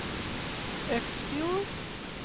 Øksfjord